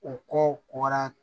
U kowara